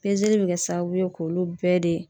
Pezeli be kɛ sababu ye k'olu bɛɛ de